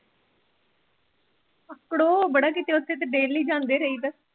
ਕੜੋ ਬੜਾ ਕਿਤੇ ਉੱਥੇ ਤੇ daily ਜਾਂਦੇ ਰਹੀਦਾ।